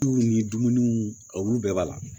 Tu ni dumuniw olu bɛɛ b'a la